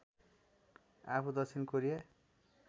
आफू दक्षिण कोरिया